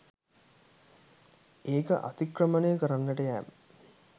ඒක අතික්‍රමනය කරන්නට යෑම